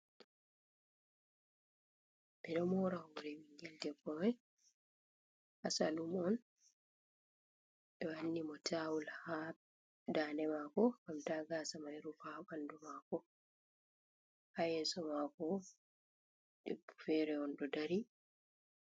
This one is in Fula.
Ɓe ɗo mora hore ɓingel debbo mai ha saloon on. Ɓe ɗo wanni mo tawul ha daande mako ngam ta gasa mai rufa ha ɓandu mako. Ha yeso mako bo, debbo fere on ɗo dari.